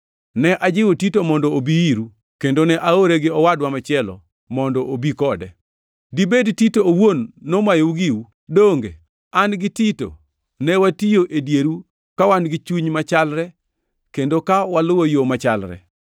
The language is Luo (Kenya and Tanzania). Ne ajiwo Tito mondo obi iru, kendo ne aore gi owadwa machielo mondo obi kode. Dibed Tito owuon nomayou giu? Donge an gi Tito ne watiyo e dieru ka wan gi chuny machalre kendo ka waluwo yo machalre?